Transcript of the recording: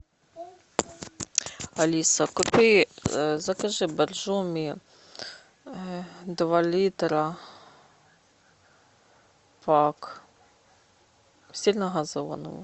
алиса купи закажи боржоми два литра пак сильногазованную